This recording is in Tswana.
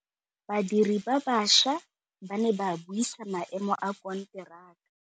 Badiri ba baša ba ne ba buisa maêmô a konteraka.